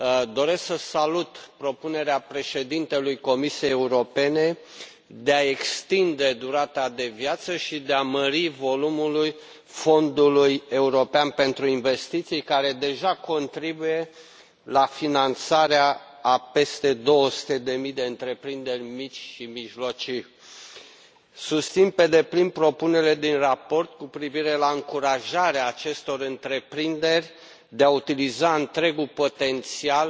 Doresc să salut propunerea președintelui Comisiei Europene de a extinde durata de viață și de a mări volumul Fondului european pentru investiții, care deja contribuie la finanțarea a peste două sute de mii de întreprinderi mici și mijlocii. Susțin pe deplin propunerile din raport cu privire la încurajarea acestor întreprinderi de a utiliza întregul potențial